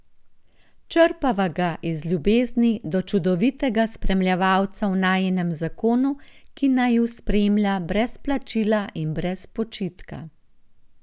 Črpava ga iz ljubezni do čudovitega spremljevalca v najinem zakonu, ki naju spremlja brez plačila in brez počitka.